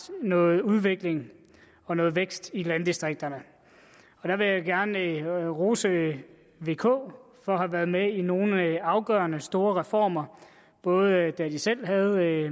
noget udvikling og noget vækst i landdistrikterne og der vil jeg gerne rose vk for at have været med i nogle afgørende store reformer både da de selv havde